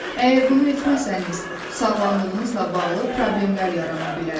Əgər bunu etməsəniz, sağlamlığınızla bağlı problemlər yarana bilər.